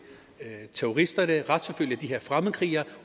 terroristerne retsforfølge de her fremmedkrigere